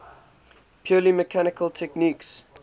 purely mechanical techniques